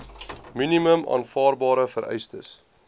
minimum aanvaarbare vereistes